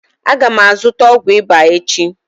Aga m azụta ọgwụ ịba echi